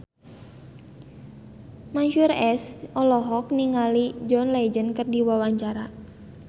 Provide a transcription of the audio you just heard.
Mansyur S olohok ningali John Legend keur diwawancara